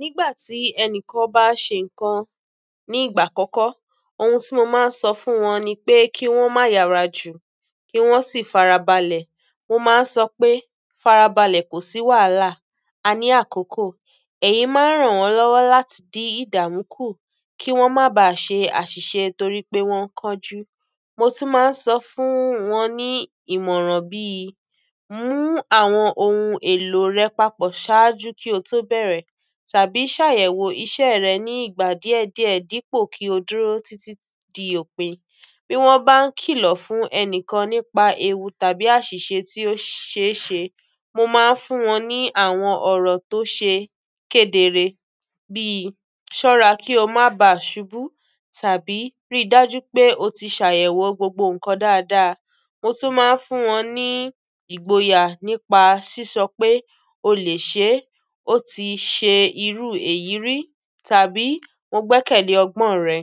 Nígbà tí ẹnìkan bá ṣe nǹkan nígbà àkọ́kọ́, ohun tí mo máa ń sọ fún wọn ni pé kí wọ́n má yára jù kí wọ́n sì fara balẹ̀. Mo máa ń sọ pé, "Fara balẹ̀ kò sí wàhálà, a ní àkókò." èyí máa ń ràn wọ́n lọ́wọ́ láti din ìdààmú kù, kí wọ́n má ba à ṣe àṣìṣe torí pé wọ́n n kánjú. Mo tún máa ń sọ fún wọn ní ìmọ̀ràn bí, "Mú àwọn ohun èlò rẹ papọ̀ ṣáájú kí o tó bẹ̀rẹ̀, tàbí ṣàyẹ̀wò iṣẹ́ rẹ ní ìgbà díẹ̀ díẹ̀ dípò kí o dúró títí di òpin." Bí wọ́n bá ń kìlọ̀ fún ẹnikan nípa ewu tàbí àṣìṣe tí ó ṣe ṣe, mo máa ń fún wọn ní àwọn ọ̀rọ̀ tó ṣe kedere bíi, "Ṣọ́ra kí o má ba à ṣubú, tàbí ríi dájú pé o ti ṣàyẹ̀wò gbogbo ǹkan dáadáa." Mo tún máa ń fún wọn ní ìgboyà nípa sísọ pé, "O lè ṣe é," "O ti ṣe irú èyí rí," tàbí "Mo gbẹ́kẹ̀lé ọgbọ́n rẹ."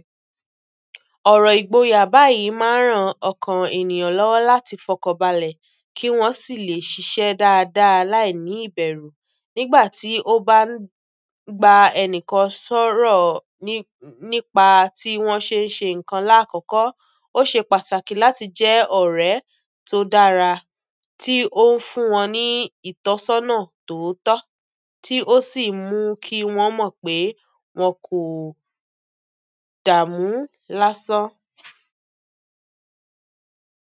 Ọ̀rọ̀ ìgboyà báyìí máa ń ràn ọkàn ènìyàn lọ́wọ́ láti fọkanbalẹ̀ kí wọ́n sì lè ṣiṣẹ́ dáadáa láìní ìbẹ̀rù. Nígbà tí o bá ń gba ẹnìkan sọ̀rọ̀ nípa tí wọ́n ṣe ń ṣe ǹkan làkọ́kọ́, ó ṣe pàtàkì láti jẹ́ ọ̀rẹ́ tó dára tí ó ń fún wọn ní ìtọ́sọ́nà tootọ, tí ó sì n mú kí wọ́n mọ̀ pé wọn kò dààmú lásán.